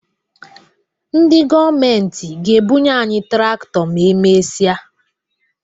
Ndị gọọmenti ga-ebunye anyị traktọ ma e mesịa